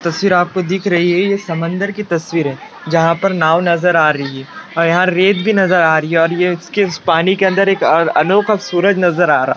तस्वीर आपको दिख री है ये समंदर की तस्वीर है जहां पर नाव नजर आ री है और यहां रेत भी नजर आ री है और ये उसके उस पानी के अंदर एक अनोखा सूरज नजर आ रा।